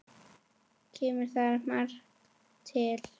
Kemur þar margt til.